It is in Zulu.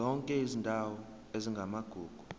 zonke izindawo ezingamagugu